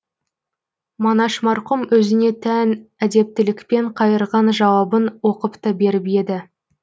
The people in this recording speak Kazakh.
манаш марқұм өзіне тән әдептілікпен қайырған жауабын оқып та беріп еді